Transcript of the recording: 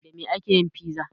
Da me ake yin fiza?